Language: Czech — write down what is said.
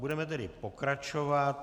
Budeme tedy pokračovat.